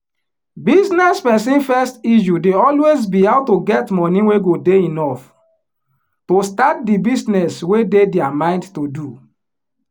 business person first issue dey always be how to get money wey go dey enough to start di business wey dey dia mind to do